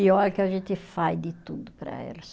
E olha que a gente faz de tudo para elas.